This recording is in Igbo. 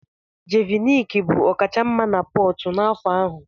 Jeviniki bụ ọkachamma na Portu n'afọ ahụ.